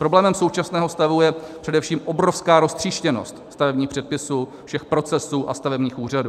Problémem současného stavu je především obrovská roztříštěnost stavebních předpisů, všech procesů a stavebních úřadů.